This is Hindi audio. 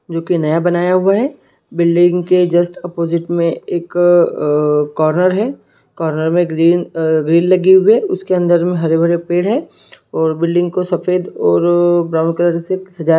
जो की नया बना हुआ है बिल्डिंग के जस्ट अपोजिट में एक कॉर्नर है कॉर्नर में ग्रिल आ ग्रिल लगे हुए है उसके अंदर में हरे भरे पेड़ है और बिल्डिंग को सफेद और ब्लू कलर से सजाय--